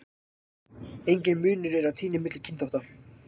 Enginn munur er á tíðni milli kynþátta.